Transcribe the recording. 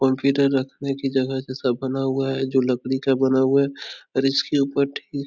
और इधर रखने की जगह जैसा बना हुआ है जो लकड़ी का बना हुआ है और इसके ऊपर ठीक --